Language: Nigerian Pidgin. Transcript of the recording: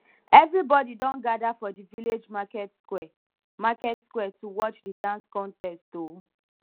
everybody don gather for di village market square market square to watch di dance contest o